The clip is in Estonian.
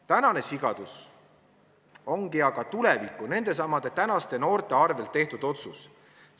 Tänane sigadus ongi aga tuleviku, nendesamade tänaste noorte arvel tehtud otsus.